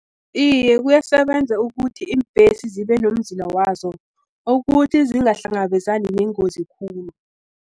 Iye, kuyasebenza ukuthi iimbhesi zibenomzila wazo, ukuthi zingahlangabezani neengozi khulu.